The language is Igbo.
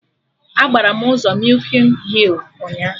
Agbara m ụzọ mịkin hịl ụnyaahụ